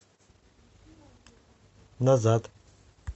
назад